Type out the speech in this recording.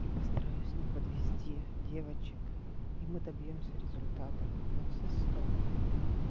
и постараюсь не подвести девочек и мы добьёмся результатов на все сто